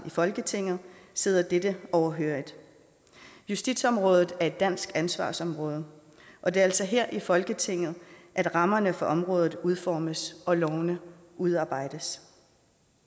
i folketinget sidder dette overhørig justitsområdet er et dansk ansvarsområde og det er altså her i folketinget at rammerne for området udformes og lovene udarbejdes